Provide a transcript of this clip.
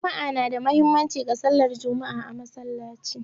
Juma'a na da muhimmanci ga sallar Juma'a a Musulunci.